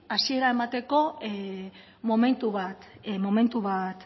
hasiera emateko momentu bat